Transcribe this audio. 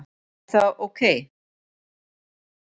Er það ok?